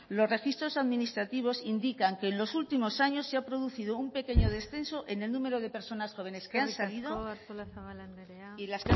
los registros administrativos indican que en los último años se ha producido un pequeño descenso en el número de personas jóvenes que han salido y las que han tenido que volver eskerrik asko artolazabal andrea